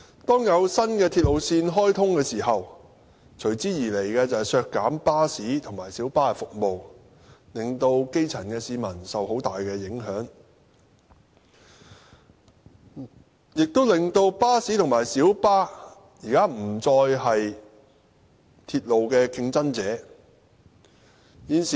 當有新鐵路線開通時，隨之而來的，就是削減巴士和小巴服務，令基層市民受很大影響，亦令巴士和小巴現在不再是鐵路的競爭者。